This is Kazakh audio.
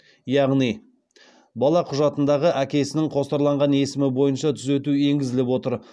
яғни бала құжатындағы әкесінің қосарланған есімі бойынша түзету енгізіліп отыр